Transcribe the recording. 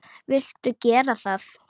Viltu gera það?